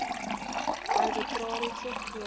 arbitrasie voor ontslag